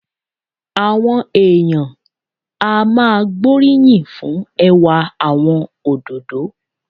Àwọn èèyàn á máa gbóríyìn fún ẹwà àwọn òdòdó